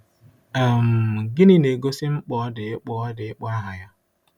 um Gịnị na-egosi mkpa ọ dị ịkpọ ọ dị ịkpọ aha ya?